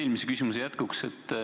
Eelmise küsimuse jätkuks.